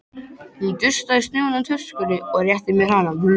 Hann dustaði snjóinn af töskunni og rétti mér hana.